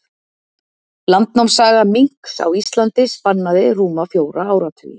Landnámssaga minks á Íslandi spannaði rúma fjóra áratugi.